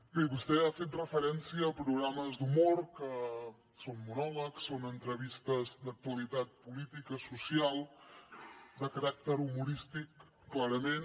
bé vostè ha fet referència a programes d’humor que són monòlegs són entrevistes d’actualitat política social de caràcter humorístic clarament